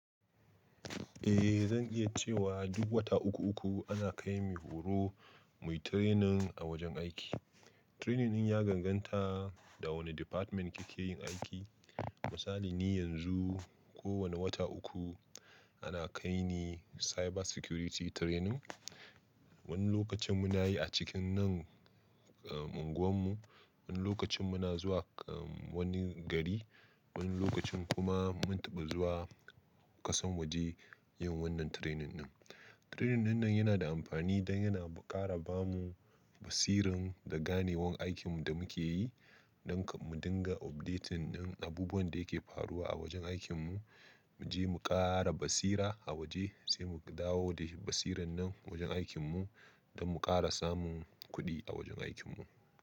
Eh zan iya cewa duk wata uku uku ana kai mu horo, muyi training a wajen aiki. Training ɗin ya ganganta da wane department kike yin aiki. Misali ni yanzu ko wane wata uku ana kai ni cyber security training. Wani lokacin muna yi a cikin nan, eh unguwan mu, wani lokacin muna zuwa eh wani gari, wani lokacin kuma mun taba zuwa kasan waje yin wannan training ɗin. Training dinnan yana da amfani dan yana kara bamu basirin da ganewan aikin da muke yi, don mu dinga updating din abubuwan da yake faruwa a wajen aikin mu, mu je mu kara basira a waje sai mu dawo da basiran nan wajen aikin mu don mu kara samun kuɗi a wajen aikin mu.